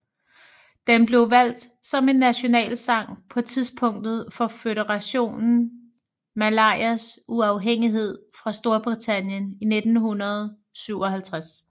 Den blev valgt som en nationalsang på tidspunktet for Føderationen Malayas uafhængighed fra Storbritannien i 1957